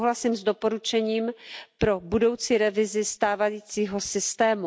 Souhlasím s doporučením pro budoucí revizi stávajícího systému.